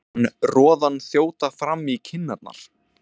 Fann roðann þjóta fram í kinnarnar.